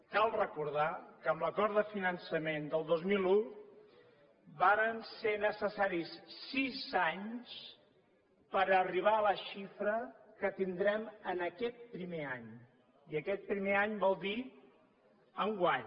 cal recordar que amb l’acord de finançament del dos mil un varen ser necessaris sis anys per arribar a la xifra que tindrem en aquest primer any i aquest primer any vol dir enguany